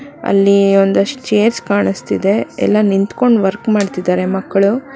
ಅಲ್ಲಿ ಒಂದಷ್ಟು ಚೇರ್ಸ್ ಕಾಣಿಸ್ತಿದೆ ಎಲ್ಲ ನಿಂತ್ಕೊಂಡು ವರ್ಕ್ ಮಾಡ್ತಿದ್ದಾರೆ ಮಕ್ಕಳು.